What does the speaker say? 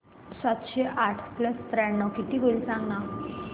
सातशे आठ प्लस त्र्याण्णव किती होईल सांगना